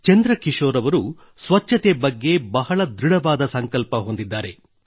ಚಂದ್ರ ಕಿಶೋರ್ ಅವರು ಸ್ವಚ್ಛತೆ ಬಗ್ಗೆ ಬಹಳ ದೃಡವಾದ ಸಂಕಲ್ಪ ಹೊಂದಿದ್ದಾರೆ